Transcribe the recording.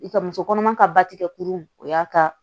I ka muso kɔnɔma ka ba tigɛ kurun o y'a ka